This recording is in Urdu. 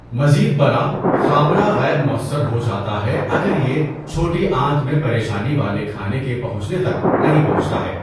مزید برآں، خامرہ غیر مؤثر ہو جاتا ہے اگر یہ چھوٹی آنت میں پریشانی والے کھانے کے پہنچنے تک نہیں پہنچتا ہے۔